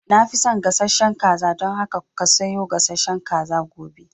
Na fi son gasashen kaza, dan haka ka sayo gasashen kaza gobe